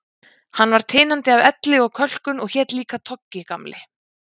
Hann var tinandi af elli og kölkun og hét líka Toggi, Gamli